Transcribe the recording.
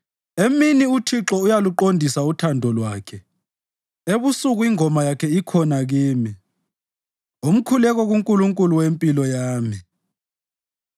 Emini uThixo uyaluqondisa uthando lwakhe ebusuku ingoma yakhe ikhona kimi umkhuleko kuNkulunkulu wempilo yami.